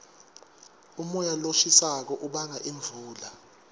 umoya loshisako ubanga imvula